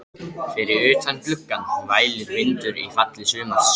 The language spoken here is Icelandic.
Fyrir utan gluggann vælir vindur í falli sumars.